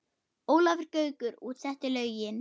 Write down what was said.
Ólafur Gaukur útsetti lögin.